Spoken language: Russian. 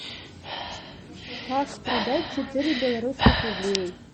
как продать четыре белорусских рублей